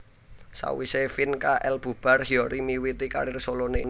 Sawisé Fin K L bubar Hyori miwiti karir soloné